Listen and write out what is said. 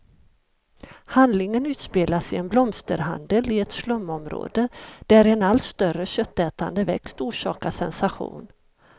Handlingen utspelas i en blomsterhandel i ett slumområde, där en allt större köttätande växt orsakar sensation.